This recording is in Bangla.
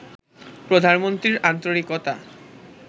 প্রধানমন্ত্রীর আন্তরিকতা